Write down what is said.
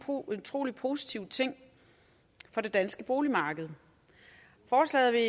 utrolig positiv ting for det danske boligmarked forslaget vil